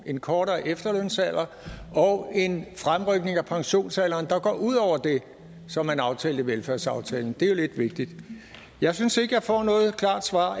en kortere efterlønsalder og en fremrykning af pensionsalderen der går ud over det som man aftalte i velfærdsaftalen det er jo lidt vigtigt jeg synes ikke jeg får noget klart svar